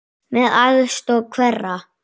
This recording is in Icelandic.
Með aðstoð hverra?